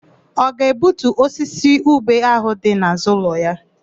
Ọ ga-egbutu osisi ube áhụ̀ dị n'àzụ́ ụlọ ya?